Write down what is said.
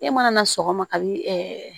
E mana na sɔgɔma kabi